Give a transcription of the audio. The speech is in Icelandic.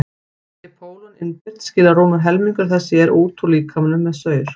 sé pólon innbyrt skilar rúmur helmingur þess sér út úr líkamanum með saur